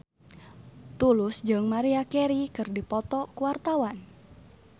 Tulus jeung Maria Carey keur dipoto ku wartawan